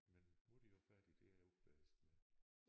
Men mutti og fatti det er jeg opvokset med